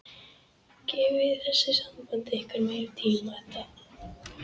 Gefið þessu sambandi ykkar meiri tíma, Edda.